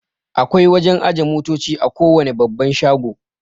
Akwai wajan ajiye motoci a kowane babban shago